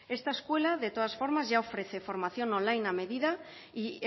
esta escuela de todas formas ya ofrece formación online a medida y